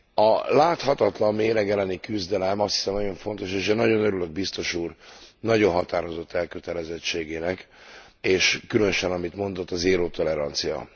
A láthatatlan méreg elleni küzdelem, azt hiszem, nagyon fontos, és én nagyon örülök a Biztos Úr nagyon határozott elkötelezettségének, és különösen amit mondott a zéró tolerancia.